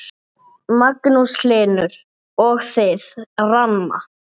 Magnús Hlynur: Og þið, Ranna?